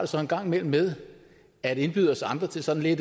så en gang imellem med at indbyde os andre til sådan